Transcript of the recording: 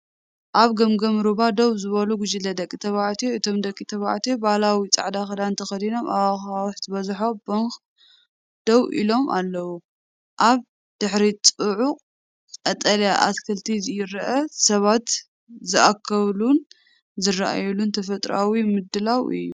ኣብ ገምገም ሩባ ደው ዝበሉ ጉጅለ ደቂ ተባዕትዮ። እቶም ደቂ ተባዕትዮ ባህላዊ ጻዕዳ ክዳን ተኸዲኖም ኣብቲ ኣኻውሕ ዝበዝሖ ባንክ ደው ኢሎም ኣለዉ። ኣብ ድሕሪት ጽዑቕ ቀጠልያ ኣትክልቲ ይርአ። ሰባት ዝእከብሉን ዝረኣዩሉን ተፈጥሮኣዊ ምድላው እዩ።